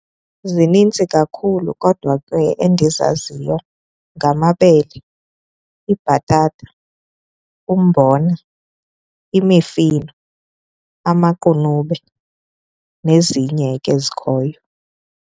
Zinintsi kakhulu kodwa ke endizaziyo, ngamabele, ibhatata, umbona, imifino, amaqunube nezinye ke ezikhoyo.